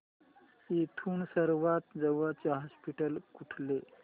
इथून सर्वांत जवळचे हॉस्पिटल कुठले